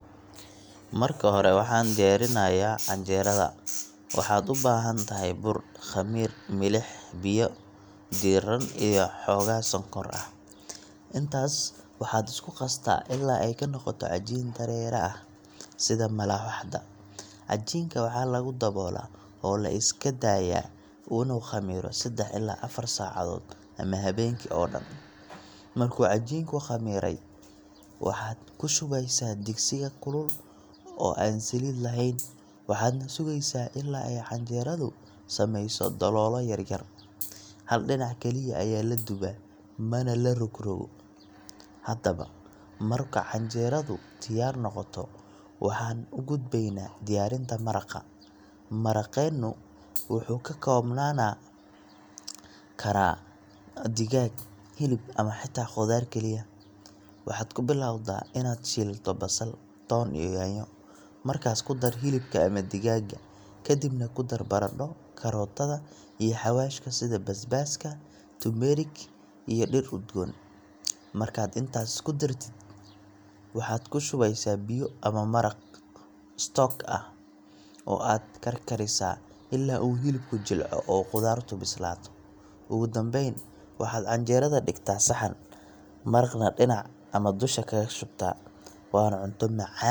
Marka hore, waxaan diyaarinaynaa canjeerada. Waxaad u baahan tahay bur, khamiir, milix, biyo diirran iyo xoogaa sonkor ah. Intaas waad isku qastaa ilaa ay ka noqoto cajiin dareere ah, sida malawaxda. Cajiinka waxaa lagu daboolaa oo la iska daayaa inuu khamiiro seddax ilaa afar saacadood ama habeenkii oo dhan. Markuu cajiinku khamiiray, waxaad ku shubaysaa digsiga kulul oo aan saliid lahayn, waxaadna sugaysaa ilaa ay canjeeradu samayso daloolo yaryar. Hal dhinac kaliya ayaa la dubaa, mana la rogrogo. Haddaba marka canjeeradu diyaar noqoto, waxaan u gudbaynaa diyaarinta maraqa. Maraqeennu wuxuu ka koobnaan karaa digaag, hilib ama xitaa khudaar kaliya. Waxaad ku bilowdaa inaad shiilto basal, toon iyo yaanyo. Markaas ku dar hilibka ama digaagga, ka dibna ku dar baradho, karootada iyo xawaashka sida basbaaska, turmerik, iyo dhir udgoon. Markaad intaas isku dartid, waxaad ku shubaysaa biyo ama maraq stock ah, oo aad karkarisaa ilaa uu hilibku jilco oo khudaartu bislaato. Ugu dambayn, waxaad canjeerada dhigtaa saxan, maraqana dhinac ama dusha kaga shubtaa waana cunto macaan oo qaran Soomaaliyeed ah.